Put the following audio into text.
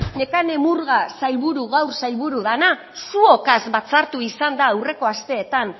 nekane murga gaur sailburu dana zuokaz batzartu izan da aurreko asteetan